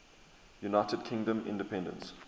united kingdom independence